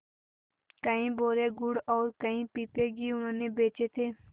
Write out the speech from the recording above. कई बोरे गुड़ और कई पीपे घी उन्होंने बेचे थे